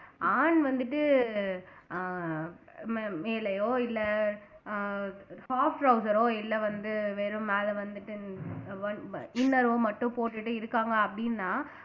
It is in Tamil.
ஆண் வந்துட்டு ஆஹ் மே மேலயோ இல்லை ஆஹ் half trouser ஓ இல்ல வந்து வெறும் மேல வந்துட்டு inner ஓ மட்டும் போட்டுட்டு இருக்காங்க அப்படின்னா